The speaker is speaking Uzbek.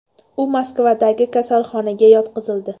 U Moskvadagi kasalxonaga yotqizildi.